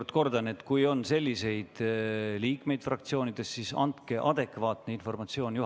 Ma kordan veel, et kui fraktsioonides on selliseid liikmeid, siis andke juhatusele adekvaatne informatsioon.